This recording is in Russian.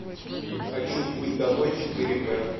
хочу путь домой четыре ка